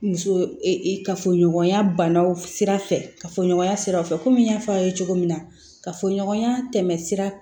Muso kafoɲɔgɔnya banaw sira fɛ ka fɔ ɲɔgɔnya siraw fɛ kɔmi n y'a fɔ aw ye cogo min na ka fɔ ɲɔgɔnya tɛmɛ sira